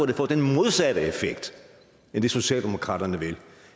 det får den modsatte effekt af det socialdemokraterne vil